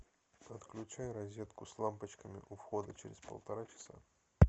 отключай розетку с лампочками у входа через полтора часа